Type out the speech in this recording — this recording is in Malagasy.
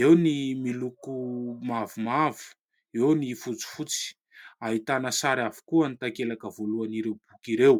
eo ny miloko mavomavo, eo ny fotsifotsy. Ahitana sary avokoa ny takelaka voalohan'ireo boky ireo.